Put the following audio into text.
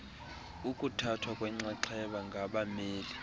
ukuthathwa kwenxaxheba ngabameli